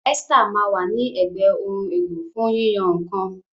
Esther ma wa ni ègbé Ohun èlò fún yíyan nǹkan.